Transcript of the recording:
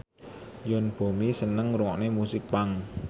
Yoon Bomi seneng ngrungokne musik punk